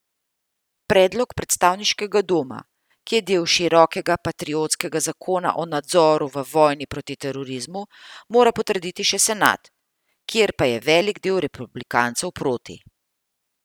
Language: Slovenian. Predlog predstavniškega doma, ki je del širokega patriotskega zakona o nadzoru v vojni proti terorizmu, mora potrditi še senat, kjer pa je velik del republikancev proti.